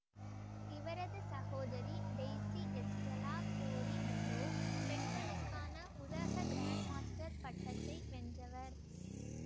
இவரது சகோதரி Daisy Estela Cori Tello பெண்களுக்கான உலக கிராண்ட் மாஸ்டர் பட்டத்தை வென்றவர்